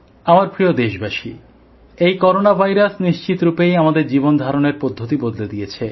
আমার প্রিয় দেশবাসী এই করোনা ভাইরাস নিশ্চিত রূপেই আমাদের জীবনধারণের পদ্ধতি বদলে দিয়েছে